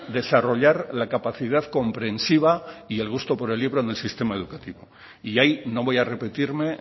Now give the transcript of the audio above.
desarrollar la capacidad comprensiva y el gusto por el libro en el sistema educativo y ahí no voy a repetirme